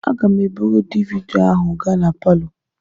Aga m eburu DVD ahụ gaa na palọ.